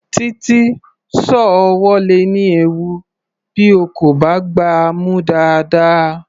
Títí, sọ́ọ̀ ọwọ́ le ní ewu bí o kò bá gbá a mú dáadáa.